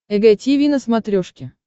эг тиви на смотрешке